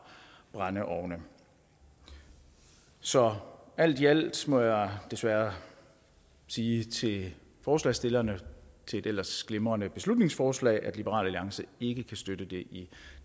brændeovne så alt i alt må jeg desværre sige til forslagsstillerne af et ellers glimrende beslutningsforslag at liberal alliance ikke kan støtte det i